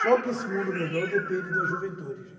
Só que esse mundo melhor depende da juventude, gente.